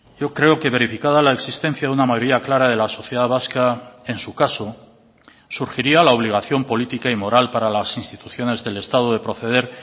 yo creo que verificada la existencia de una mayoría clara de la sociedad vasca en su caso surgiría la obligación política y moral para las instituciones del estado de proceder